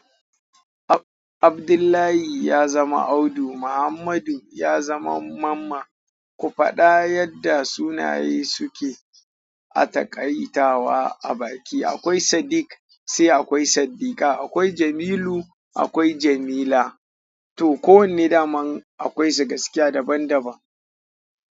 Abdullahi ya zama Audu, Muhammadu ya zama Mamman. Ku faɗa yadda sunaye suke a taƙaitawa a baki. Akwai Sadiq sai akwai Saddiqah, akwai Jamilu akwai Jamila. Toh kowanne daman akwai su gaskiya daban daban.